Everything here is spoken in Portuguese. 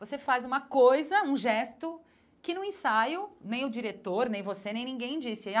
Você faz uma coisa, um gesto, que no ensaio, nem o diretor, nem você, nem ninguém disse.